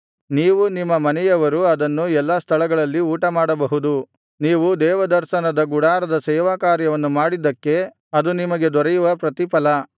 ನೀವೂ ನಿಮ್ಮ ಮನೆಯವರೂ ಅದನ್ನು ಎಲ್ಲಾ ಸ್ಥಳಗಳಲ್ಲಿ ಊಟಮಾಡಬಹುದು ನೀವು ದೇವದರ್ಶನದ ಗುಡಾರದ ಸೇವಾಕಾರ್ಯವನ್ನು ಮಾಡಿದ್ದಕ್ಕೆ ಅದು ನಿಮಗೆ ದೊರೆಯುವ ಪ್ರತಿಫಲ